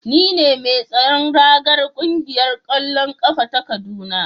Ni ne mai tsaron ragar kungiyar kwallon kafa ta kaduna